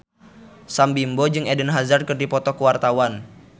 Sam Bimbo jeung Eden Hazard keur dipoto ku wartawan